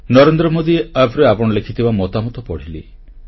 ନରେନ୍ଦ୍ର ମୋଦି Appରେ ଆପଣ ଲେଖିଥିବା ମତାମତ ପଢ଼ିଲି